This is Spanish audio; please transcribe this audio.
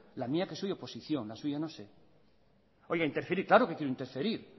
la mía que soy oposición la suya no sé interferir claro que quiero interferir